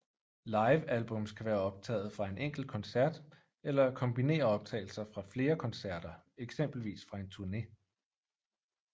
Livealbums kan være optaget fra en enkelt koncert eller kombinere optagelser fra flere koncerter eksempelvis fra en turne